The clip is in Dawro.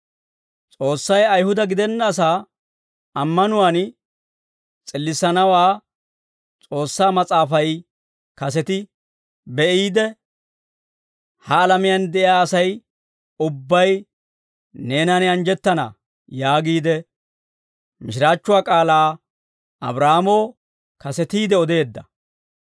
S'oossay Ayihuda gidenna asaa ammanuwaan s'illissanawaa S'oossaa Mas'aafay kaseti be'iide, «Ha alamiyaan de'iyaa Asay ubbay neenan anjjettana» yaagiide, mishiraachchuwaa k'aalaa Abraahaamoo kasetiide odeedda.